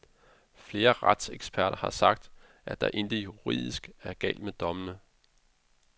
Flere retseksperter har sagt, at der intet juridisk er galt med dommene.